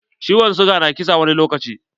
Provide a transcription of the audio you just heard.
Ciwon siga na kisa wani lokaci.